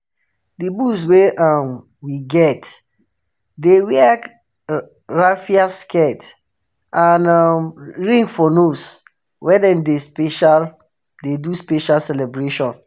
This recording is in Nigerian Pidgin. the bulls wey um we get dey wear raffia skirts and um ring for nose when them dey do special dey do special celebration.